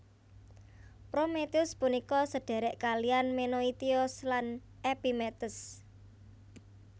Prometheus punika sedhèrèk kalihan Menoitios lan Epimetheus